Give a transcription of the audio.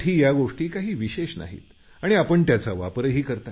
त्यात विशेष काही नाही